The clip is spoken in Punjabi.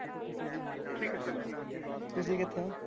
ਤੁਸੀਂ ਕਿੱਥੇ ਹੋ?